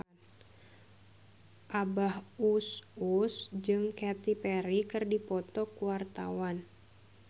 Abah Us Us jeung Katy Perry keur dipoto ku wartawan